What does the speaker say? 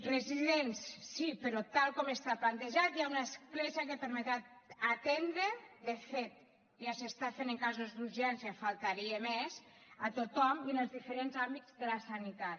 residents sí però tal com està plantejat hi ha una escletxa que permetrà atendre de fet ja es fa en casos d’urgència només faltaria tothom i en els diferents àmbits de la sanitat